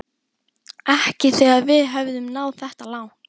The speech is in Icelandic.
Ekki þegar við höfum náð þetta langt